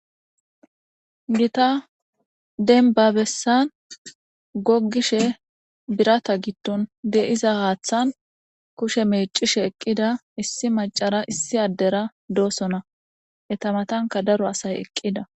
Gitta denba bessan goggishshe biratta giddon de'iza haaththan kushe meecishshe eqqida issi macara issi addera doosona eta matankka daro asay eqqida